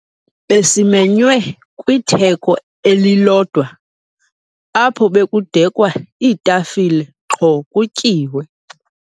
Besimenywe kwitheko elilodwa apho bekudekwa iitafile qho kutyiwe.